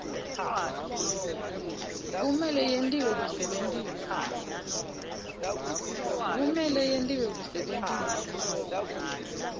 kumele yentiwe kusebentisa